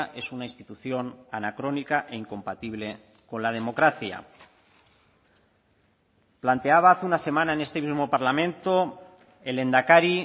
es una institución anacrónica e incompatible con la democracia planteaba hace una semana en este mismo parlamento el lehendakari